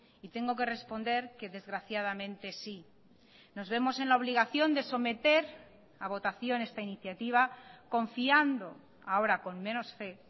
y tengo que responder que desgraciadamente sí nos vemos en la obligación de someter a votación esta iniciativa confiando ahora con menos fe